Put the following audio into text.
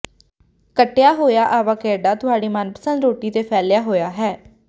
ਕੱਟਿਆ ਹੋਇਆ ਆਵਾਕੈਡਾ ਤੁਹਾਡੀ ਮਨਪਸੰਦ ਰੋਟੀ ਤੇ ਫੈਲਿਆ ਹੋਇਆ ਹੈ